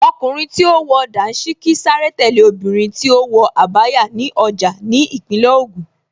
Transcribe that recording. Ọkùnrin tí ó wọ Dàńṣíkí sáré tẹ̀lé obìnrin tí ó wọ Abaya ní ọjà ní Ìpínlẹ̀ Ògùn